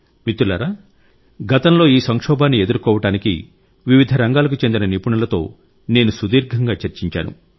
మిత్రులారా గతంలో ఈ సంక్షోభాన్ని ఎదుర్కోవటానికి వివిధ రంగాలకు చెందిన నిపుణులతో నేను సుదీర్ఘంగా చర్చించాను